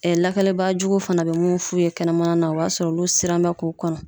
lakanabaajuguw fana be munnu f'u ye kɛnɛmana na o y'a sɔrɔ olu siran bɛ k'o kɔnɔ.